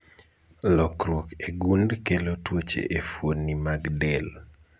Lokruok e gund kelo tuoche e fuoni mag del